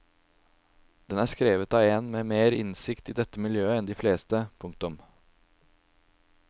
Den er skrevet av en med mer innsikt i dette miljø enn de fleste. punktum